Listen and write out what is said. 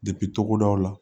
togodaw la